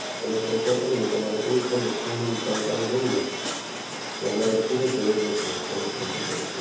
એના ઉપર કોલ કરીને તમારે કોઈ પણ વસ્તુની જાણકારી લેવી હોય, તો અમારો પૂરો સહયોગ રેસે સર્વિસ સેંટર પર.